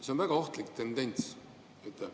See on väga ohtlik tendents.